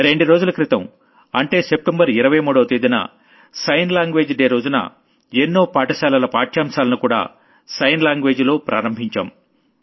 రెండు రోజుల క్రితం అంటే సెప్టెంబర్ 23వ తేదీన సైన్ లాంగ్వేజ్ డే రోజున ఎన్నో స్కూళ్ల పాఠ్యాంశాలను కూడా సైన్ లాంగ్వేజ్ లో లాంచ్ చేశాం